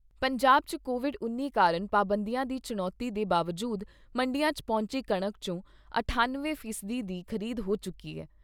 ਪੰਜਾਬ 'ਚ ਕੋਵਿਡ ਉੱਨੀ ਕਾਰਨ ਪਾਬੰਦੀਆਂ ਦੀ ਚੁਣੌਤੀ ਦੇ ਬਾਵਜੂਦ ਮੰਡੀਆਂ 'ਚ ਪਹੁੰਚੀ ਕਣਕ ' ਚੋਂ ਅਠੱਨਵੇਂ ਫੀਸਦੀ ਦੀ ਖ਼ਰੀਦ ਹੋ ਚੁੱਕੀ ਏ।